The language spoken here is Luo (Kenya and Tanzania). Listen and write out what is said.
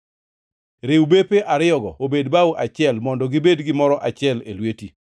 Riw bepe ariyogo obed bao achiel mondo gibed gimoro achiel e lweti.